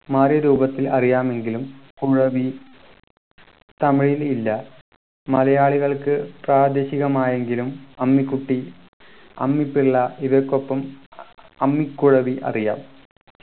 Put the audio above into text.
മാറിയ രൂപത്തിൽ അറിയാമെങ്കിലും കുഴവി തമിഴിൽ ഇല്ല മലയാളികൾക്ക് പ്രാദേശികമായെങ്കിലും അമ്മിക്കുട്ടി അമ്മിപ്പിള്ള ഇവയ്ക്കൊപ്പം അമ്മക്കുഴവി അറിയാം